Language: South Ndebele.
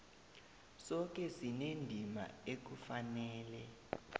soke sinendima ekufanele